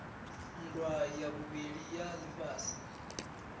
nndwa ya vhuvhili ya lifhasi